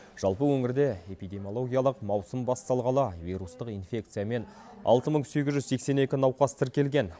жалпы өңірде эпидемиологиялық маусым басталғалы вирустық инфекциямен алты мың сегіз жүз сексен екі науқас тіркелген